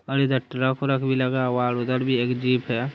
और इधर ट्रक व्रक भी लगा हुआ है और उधर भी एक जीप है।